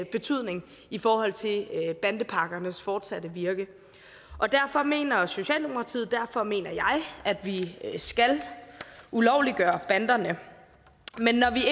betydning i forhold til bandepakkernes fortsatte virke derfor mener socialdemokratiet og derfor mener jeg at vi skal ulovliggøre banderne men når vi